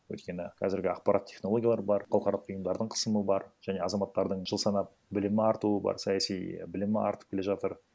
өйткені қазіргі ақпарат технологиялар бар халықаралық ұйымдардың қысымы бар және азаматтардың жыл санап білімі артуы бар саяси білімі артып келе жатыр